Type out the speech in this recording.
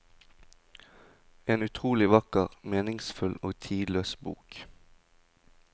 En utrolig vakker, meningsfull og tidløs bok.